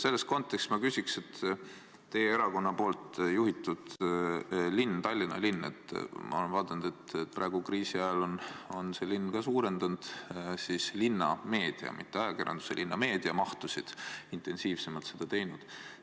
Selles kontekstis ma küsiks, et teie erakonna juhitud linn, Tallinn, ma olen vaadanud, on praegu kriisi ajal suurendanud linnameedia – mitte ajakirjanduse, vaid linnameedia – mahtusid, on intensiivsemalt seda teinud.